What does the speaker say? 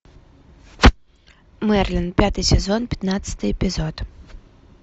мерлин пятый сезон пятнадцатый эпизод